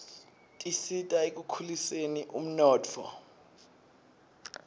tisita ekukhuliseni umnotfo